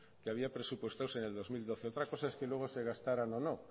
que había presupuestados en el dos mil doce otra cosa es que luego se gastarán o no